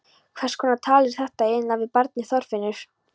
Hverskonar tal er þetta eiginlega við barnið Þorfinnur?